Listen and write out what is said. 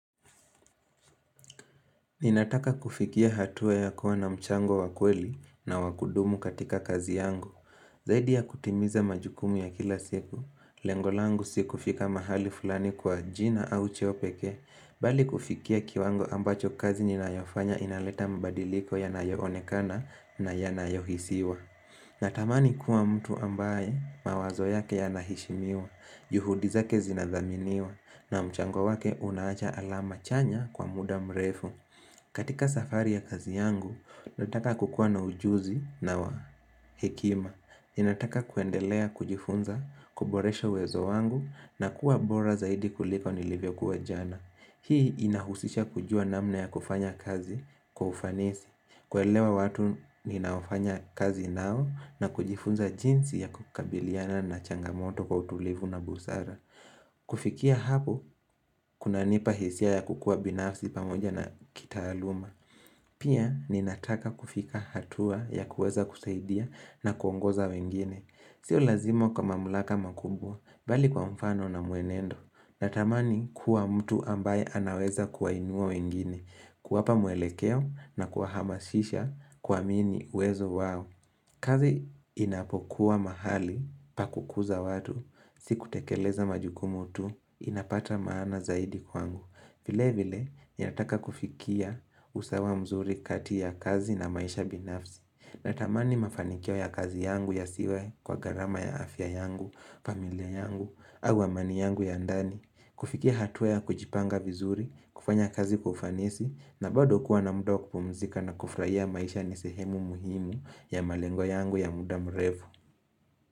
Ninataka kufikia hatua ya kuwa na mchango wakweli na wakudumu katika kazi yangu, zaidi ya kutimiza majukumu ya kila siku, lengolangu si kufika mahali fulani kwa jina au cheopeke, bali kufikia kiwango ambacho kazi ninayofanya inaleta mabadiliko ya nayoonekana na ya nayohisiwa. Natamani kuwa mtu ambaye mawazo yake yanaheshimiwa, juhudizake zinazaminiwa, na mchango wake unaacha alama chanya kwa muda mrefu. Katika safari ya kazi yangu, nataka kukuwa na ujuzi na wa hekima. Ninataka kuendelea kujifunza, kuboresha uwezo wangu, na kuwa bora zaidi kuliko nilivyo kuwa jana. Hii inahusisha kujua namna ya kufanya kazi kufanisi. Kuelewa watu ninaofanya kazi nao na kujifunza jinsi ya kukabiliana na changamoto kwa utulivu na busara kufikia hapo, kuna nipahisia ya kukua binafsi pamoja na kitaaluma Pia, ninataka kufika hatua ya kuweza kusaidia na kuongoza wengine Sio lazima kwa mamulaka makumbwa, bali kwa mfano na mwenendo Natamani kuwa mtu ambaye anaweza kuwa inua wengine kuwapa mwelekeo na kuwahamasisha ku amini uwezo wao. Kazi inapokuwa mahali pa kukuza watu, siku tekeleza majukumutu, inapata maana zaidi kwangu. Vile vile, ninataka kufikia usawa mzuri kati ya kazi na maisha binafsi. Natamani mafanikio ya kazi yangu ya siwe kwa gharama ya afya yangu, familia yangu, au amani yangu ya ndani. Kufikia hatua ya kujipanga vizuri, kufanya kazi kwa ufanisi na bado kuwa na muda wakupumzika na kufurahia maisha nisehemu muhimu ya malengo yangu ya muda mrefu.